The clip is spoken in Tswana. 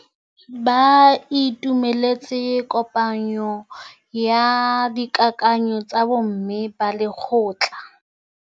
Ba itumeletse kôpanyo ya dikakanyô tsa bo mme ba lekgotla.